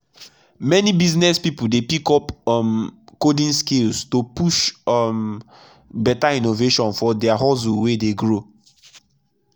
many business people dey pick up um coding skills to take push um better innovation for their hustle wey dey grow.